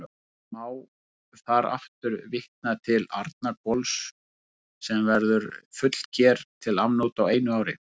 Má þar aftur vitna til Arnarhvols, sem verður fullger til afnota á einu ári.